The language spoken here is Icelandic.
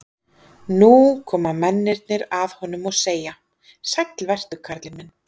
Nú koma mennirnir að honum og segja: Sæll vertu karl minn.